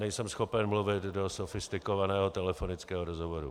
Nejsem schopen mluvit do sofistikovaného telefonického rozhovoru.